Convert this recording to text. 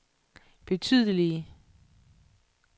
betydelige